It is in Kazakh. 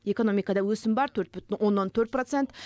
экономикада өсім бар төрт бүтін оннан төрт процент